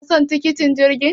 kuna son tikitin jirgi?